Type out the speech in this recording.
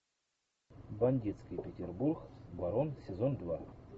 бандитский петербург барон сезон два